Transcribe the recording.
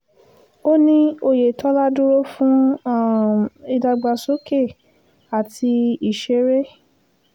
ó ní oyetola dúró fún um ìdàgbàsókè àti ìṣeré